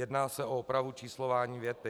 Jedná se o opravu číslování věty.